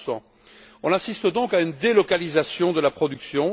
30 On assiste donc à une délocalisation de la production.